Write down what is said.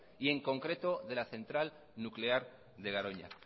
y en concreto de la centra nuclear de garoña